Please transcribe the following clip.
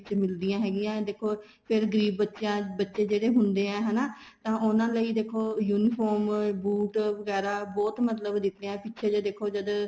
ਮਿਲਦੀਆਂ ਹੈਗੀਆਂ ਦੇਖੋ ਫ਼ੇਰ ਗਰੀਬ ਬੱਚਿਆ ਚ ਬੱਚੇ ਜਿਹੜੇ ਹੁੰਦੇ ਆ ਹੈਨਾ ਤਾਂ ਉਹਨਾ ਲਈ ਦੇਖੋ uniform ਬੂਟ ਵਗੈਰਾ ਬਹੁਤ ਮਤਲਬ ਦਿੱਤੇ ਏ ਪਿੱਛੇ ਜ਼ੇ ਦੇਖੋ ਜਦ